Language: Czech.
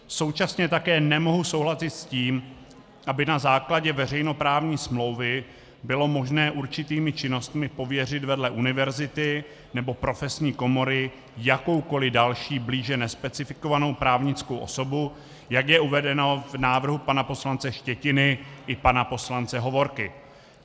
Současně také nemohu souhlasit s tím, aby na základě veřejnoprávní smlouvy bylo možné určitými činnostmi pověřit vedle univerzity nebo profesní komory jakoukoli další blíže nespecifikovanou právnickou osobu, jak je uvedeno v návrhu pana poslance Štětiny i pana poslance Hovorky.